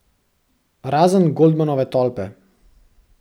Razen Goldmanove tolpe.